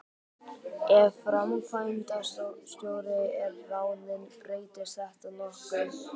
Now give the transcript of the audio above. Ef framkvæmdastjóri er ráðinn breytist þetta nokkuð.